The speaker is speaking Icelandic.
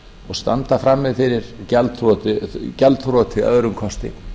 og standa frammi fyrir gjaldþroti að öðrum kosti